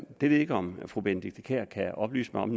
ved ikke om fru benedikte kiær kan oplyse mig om